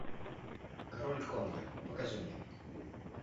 король конго покажи мне